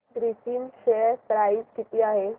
Grasim share price किती आहे